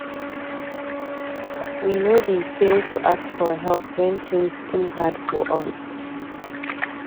We no dey fail to ask for help when tins too hard for us.